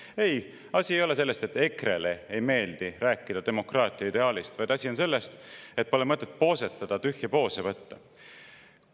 Ei, asi ei ole selles, et EKRE‑le ei meeldi rääkida demokraatia ideaalist, vaid asi on selles, et pole mõtet poosetada, tühje poose võtta.